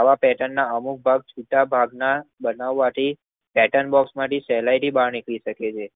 આવા પેટર્નના અમુક બેટ શકાતું નથી. આવા પેર્ટનના અમુક બેટ છુટા ભાગ માં બનાવથી પેટર્ન બોક્સમાંથી સહેલાઇ થી નિકરી શકે છે.